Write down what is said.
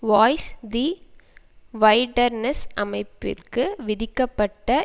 voice the wilderness அமைப்பிற்கு விதிக்கப்பட்ட